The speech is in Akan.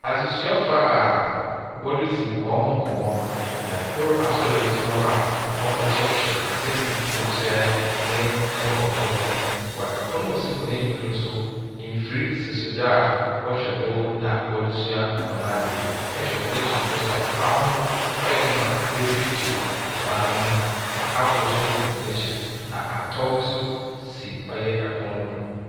Adzesuafo a wɔredzi wɔn ho nkɔmmɔ. Na kor asɔr agyina hɔ a ɔrekyerɛkyerɛ nsɛm mu dze kyerɛ ne nkrɔfo no. Wɔ pon a osi wɔn enyim no nso, nfir sisi do a wɔhwɛ do na wɔdze sua wɔ adze. Ihwɛ wɔn akyir hɔ a, ban ho no, ayɛ dɛ ma wɔatuetue ban no ho. Na abo nso wɔ hɔn akyir. Na ahataw nso si ɔyɛ opn no do.